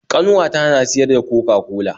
Ƙanwata na siyar da coca-cola.